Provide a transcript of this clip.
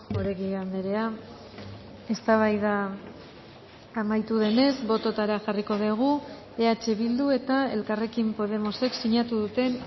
oregi andrea eztabaida amaitu denez bototara jarriko dugu eh bildu eta elkarrekin podemosek sinatu duten